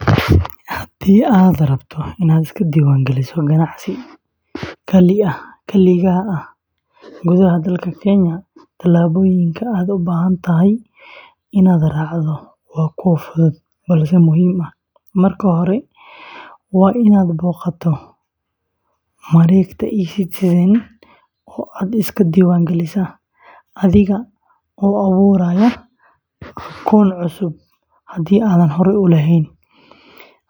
Haddii aad rabto inaad iska diiwaangeliso ganacsi kaligaa ah gudaha dalka Kenya, tallaabooyinka aad u baahan tahay inaad raacdo waa kuwo fudud balse muhiim ah. Marka hore, waa in aad booqataa mareegta eCitizen oo aad iska diiwaangelisaa adiga oo abuuraya akoon cusub haddii aadan horey u lahayn.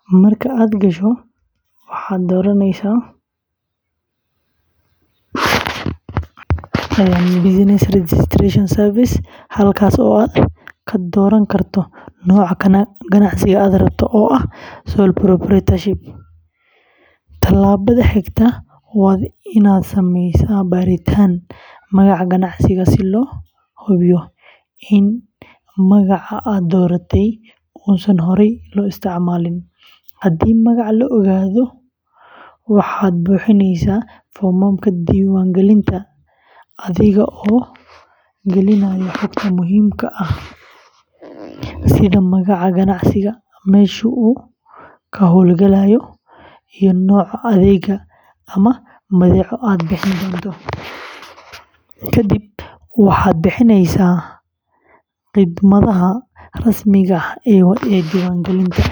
Marka aad gasho, waxaad dooranaysaa "Business Registration Service," halkaas oo aad ka dooran karto nooca ganacsiga aad rabto, oo ah "Sole Proprietorship." Tallaabada xigta waa in aad sameysaa baaritaan magaca ganacsiga si loo hubiyo in magaca aad dooratay uusan horey loo isticmaalin. Haddii magaca la oggolaado, waxaad buuxinaysaa foomamka diiwaangelinta adiga oo gelinaya xogta muhiimka ah sida magaca ganacsiga, meesha uu ka howlgalayo, iyo nooca adeeg ama badeeco aad bixin doonto. Ka dib, waxaad bixinaysaa khidmadaha rasmiga ah ee diiwaangelinta.